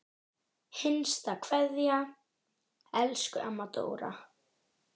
HINSTA KVEÐJA Elsku amma Dóra.